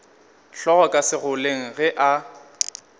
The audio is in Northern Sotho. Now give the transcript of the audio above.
hlogo ka segoleng ge a